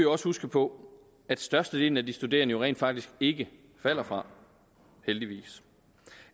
også huske på at størstedelen af de studerende jo rent faktisk ikke falder fra heldigvis